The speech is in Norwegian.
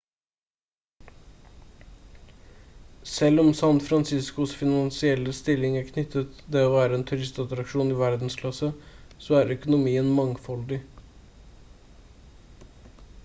selv om san franciscos finansielle stilling er tilknyttet det å være en turistattraksjon i verdensklasse så er økonomien mangfoldig